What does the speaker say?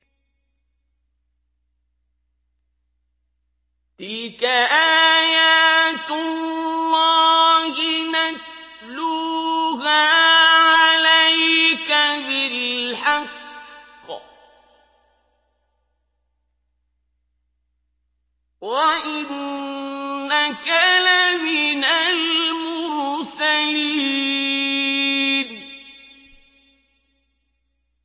تِلْكَ آيَاتُ اللَّهِ نَتْلُوهَا عَلَيْكَ بِالْحَقِّ ۚ وَإِنَّكَ لَمِنَ الْمُرْسَلِينَ